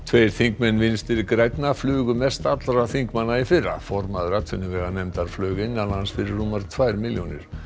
tveir þingmenn Vinstri grænna flugu mest allra þingmanna í fyrra formaður atvinnuveganefndar flaug innanlands fyrir rúmar tvær milljónir